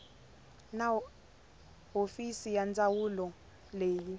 na hofisi ya ndzawulo leyi